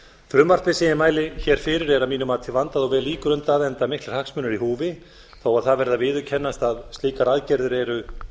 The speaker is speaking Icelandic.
frumvarpið sem ég mæli hér fyrir er að mínu mati vandað og vel ígrundað enda miklir hagsmunir í húfi þó það verði að viðurkennast að slíkar aðgerðir eru